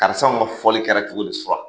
Karisaw ka fɔli kɛra cogo di sura?